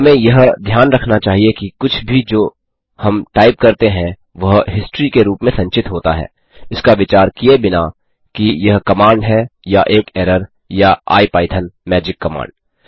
हमें यह ध्यान रखना चाहिए कि कुछ भी जो हम टाइप करते हैं वह हिस्ट्री के रूप में संचित होता है इसका विचार किये बिना कि यह कमांड है या एक एरर या आईपाइथन मैजिक कमांड